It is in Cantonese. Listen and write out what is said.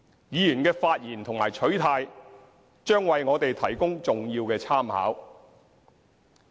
議員的發言和取態，將為我們提供重要的參考。